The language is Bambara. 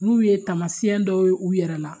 N'u ye tamasiyɛn dɔw ye u yɛrɛ la